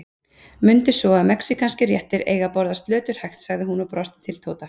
Mundu svo að mexíkanskir réttir eiga að borðast löturhægt, sagði hún og brosti til Tóta.